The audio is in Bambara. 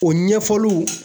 O ɲɛfɔliw